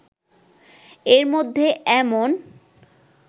এরমধ্যে এমন